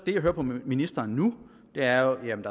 det jeg hører på ministeren nu er jo jamen